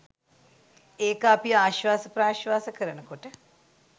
ඒක අපි ආශ්වාස ප්‍රශ්වාස කරන කොට